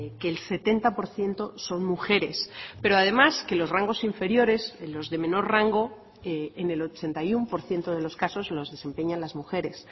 que el setenta por ciento son mujeres pero además que los rangos inferiores en los de menor rango en el ochenta y uno por ciento de los casos los desempeñan las mujeres